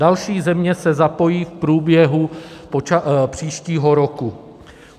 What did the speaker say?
Další země se zapojí v průběhu příštího roku.